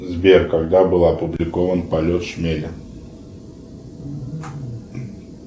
сбер когда был опубликован полет шмеля